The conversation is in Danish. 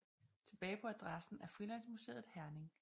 Tilbage på adressen er Frilandsmuseet Herning